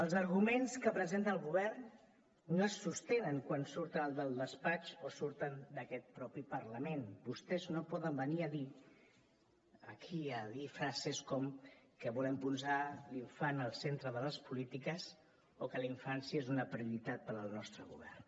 els arguments que presenta el govern no se sostenen quan surten del despatx o quan surten d’aquest propi parlament vostès no poden venir a dir aquí a dir frases com que volem posar l’infant al centre de les polítiques o que la infància és una prioritat per al nostre govern